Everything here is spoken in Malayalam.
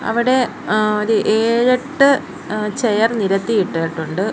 അവിടെ ങ്ങാ ഒരു ഏഴെട്ട് എ ചെയർ നിരത്തി ഇട്ടിട്ടുണ്ട്.